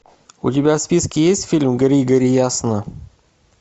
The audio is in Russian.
у тебя в списке есть фильм гори гори ясно